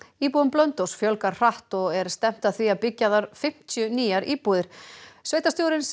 íbúum Blönduóss fjölgar hratt og er stefnt að því að byggja þar fimmtíu nýjar íbúðir sveitarstjórinn segir